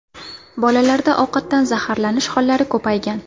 Bolalarda ovqatdan zaharlanish hollari ko‘paygan.